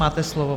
Máte slovo.